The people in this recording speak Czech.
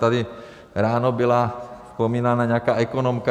Tady ráno byla vzpomínána nějaká ekonomka.